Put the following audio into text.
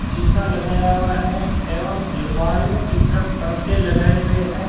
शीशा लगाया हुआ है एवं अलमारियों की तरफ पर्दे लगाए हुए हैं।